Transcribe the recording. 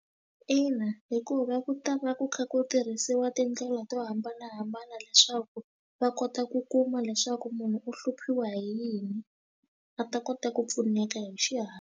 Ina, hikuva ku ta va ku kha ku tirhisiwa tindlela to hambanahambana leswaku va kota ku kuma leswaku munhu u hluphiwa hi yini a ta kota ku pfuneka hi xihatla.